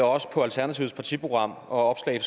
og også på alternativets partiprogram og opslag i